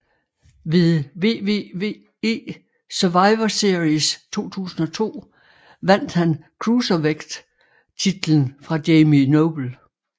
Ved WWE Survivor Series 2002 vandt han Cruiserweight titlen fra Jamie Noble